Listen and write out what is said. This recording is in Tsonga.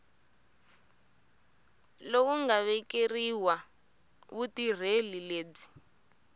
lowu nga vekeriwa vutirheli lebyi